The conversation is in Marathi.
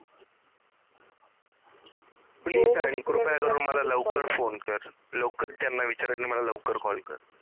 please आणि कृपया करून मला लवकर phone कर. लवकर त्यांना विचार आणि मला लवकर CALL कर